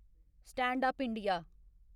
stand up India